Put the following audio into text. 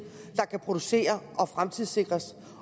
har kan producere og kan fremtidssikres